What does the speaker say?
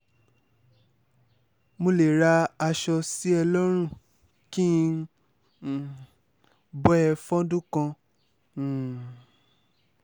mo lè ra aṣọ sí ẹ lọ́rùn kí n um bọ́ ẹ fọ́dún kan um